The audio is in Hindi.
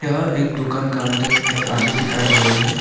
यह एक दुकान का अंदर एक आदमी दिखाई दे रहे हैं।